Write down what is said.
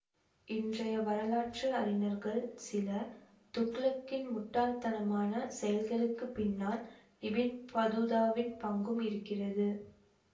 இன்றைய வரலாற்று அறிஞர்கள் சிலர் துக்ளக்கின் முட்டாள்தனமான செயல்களுக்குப் பின்னால் இபின் பதூதாவின் பங்கும் இருக்கிறது